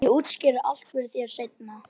Ég útskýri allt fyrir þér seinna.